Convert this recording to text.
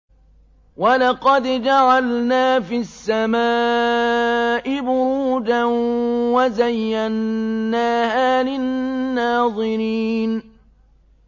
وَلَقَدْ جَعَلْنَا فِي السَّمَاءِ بُرُوجًا وَزَيَّنَّاهَا لِلنَّاظِرِينَ